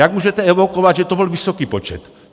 Jak můžete evokovat, že to byl vysoký počet?